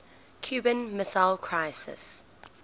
cuban missile crisis